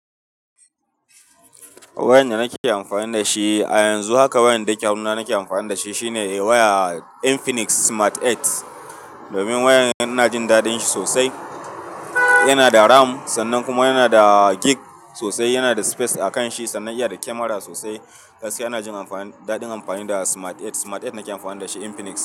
Wayar da nake amfani da shi a yanzu haka, wayar da yake hannuna nake amfani da shi shine waya Infinix Smart 8. Domin wayar ina jin daɗin shi sosai. Yana da ram sannan kuma yana da gig sosai, yana da space a kan shi sannan iya da kamara sosai. Gaskiya ina jin amfani, daɗin amfani da Smart 8, Smart 8 nake amfani da shi Infinix.